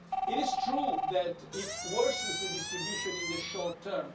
It is true that it worsens the distribution in the short term.